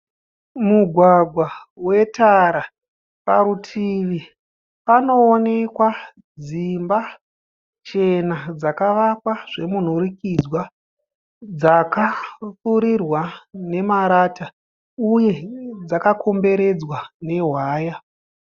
Mugwagwa wetara , pavutivi pano wonekwa dzimba chena dzakavakwa zvemhurikidzwa , ndine marata. Uye dzaka komberedzwa nehwaya .